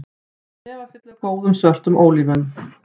Hnefafylli af góðum, svörtum ólífum